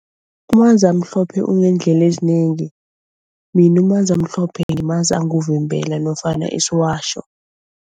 Umanzamhlophe uneendlela ezinengi. Mina umanzamhlophe ngimazi anguvimbela nofana isiwatjho.